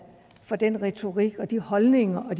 fra den retorik og de holdninger og